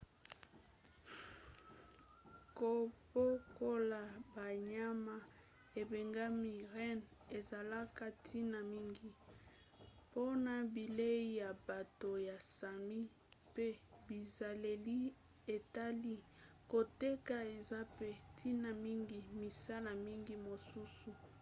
kobokola banyama ebengami renne ezalaka ntina mingi mpona bilei ya bato ya sami pe bizaleli etali koteka eza mpe ntina mingi misala mingi mosusu